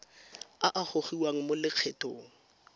a a gogiwang mo lokgethong